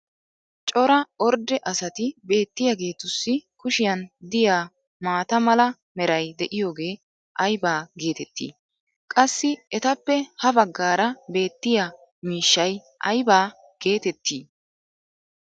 cora ordde asati beetiyaagetussi kushiyan diya maata mala meray diyaagee aybba geetettii? qassi etappe ha bagaara beetiya miishshay ayba geetettii?